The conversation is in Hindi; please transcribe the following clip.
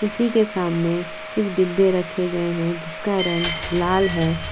उसी के सामने कुछ डिब्बे रखे गए हैं जिसका रंग लाल है।